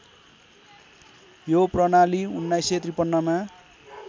यो प्रणाली १९५३ मा